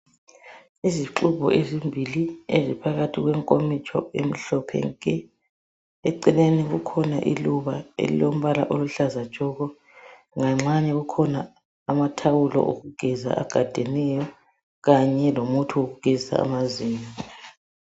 Izixubhu ezimbili eziphakathi kwenkomitsho emhlophe nke! Eceleni kukhona iluba elilombala oluhlaza tshoko! Nganxanye kukhona amathawulo okugeza agadeneyo. Kanye lomuthi wokugezisa amazinyo.